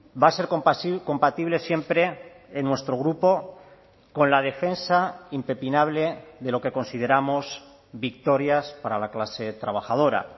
va a ser compatible siempre en nuestro grupo con la defensa impepinable de lo que consideramos victorias para la clase trabajadora